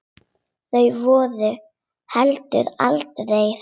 Þau voru heldur aldrei hrædd.